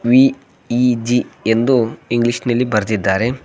VEG ಎಂದು English ನಲ್ಲಿ ಬರೆದಿದ್ದಾರೆ.